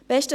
Besten